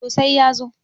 to sai ya zo